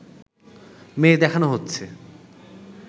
মেয়ে দেখানো হচ্ছে